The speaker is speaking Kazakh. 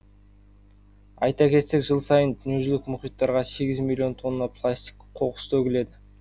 айта кетсек жыл сайын дүниежүзілік мұхиттарға сегіз миллион тонна пластик қоқыс төгіледі